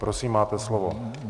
Prosím, máte slovo.